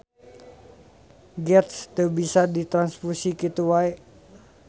Geth teu bisa ditranfusi kitu wae.